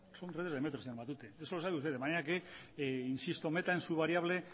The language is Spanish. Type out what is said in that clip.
son redes del metro señor matute eso lo sabe usted de manera que insisto meta en su variable